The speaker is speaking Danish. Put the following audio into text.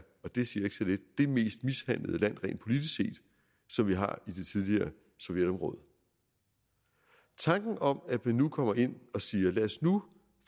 og det siger ikke så lidt det mest mishandlede land rent politisk set som vi har i det tidligere sovjetområde tanken om at man nu kommer ind og siger lad os nu